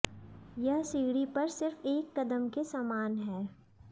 यह सीढ़ी पर सिर्फ एक कदम के समान है